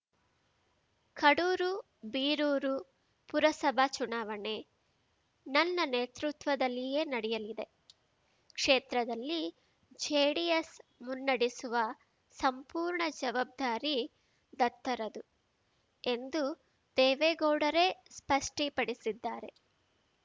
ಕಡೂರು ಬೀರೂರು ಪುರಸಭಾ ಚುನಾವಣೆ ನನ್ನ ನೇತೃತ್ವದಲ್ಲಿಯೇ ನಡೆಯಲಿದೆ ಕ್ಷೇತ್ರದಲ್ಲಿ ಜೆಡಿಎಸ್‌ ಮುನ್ನಡೆಸುವ ಸಂಪೂರ್ಣ ಜವಬ್ದಾರಿ ದತ್ತರದ್ದು ಎಂದು ದೇವೇಗೌಡರೇ ಸ್ಪಷ್ಟಿಪಡಿಸಿದ್ದಾರೆ